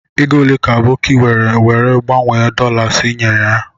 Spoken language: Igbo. Ego ole ka Aboki were were gbanwe dolas nye naira?